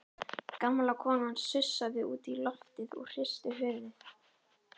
Gamla konan sussaði út í loftið og hristi höfuðið.